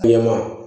Bilenman